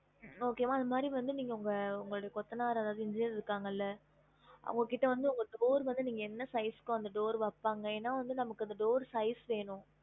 Okay வா அது மாதிரி வந்து நீங்க உங்க உங்களோட கொத்தனார் அதாவது engineer இருக்காங்கல அவங்க கிட்ட வந்து உங்க door வந்து நீங்க என்ன size க்கோ அந்த door வைப்பாங்க எனா வந்து நமக்கு அந்த door size வேணும்